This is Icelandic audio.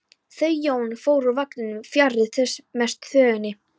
Þau Jón fóru úr vagninum fjarri mestu þvögunni.